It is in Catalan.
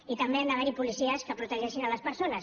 i també han d’haver hi policies que protegeixin les persones